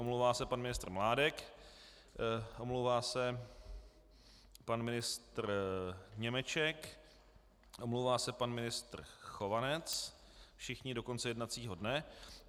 Omlouvá se pan ministr Mládek, omlouvá se pan ministr Němeček, omlouvá se pan ministr Chovanec, všichni do konce jednacího dne.